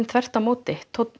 þvert á móti tónninn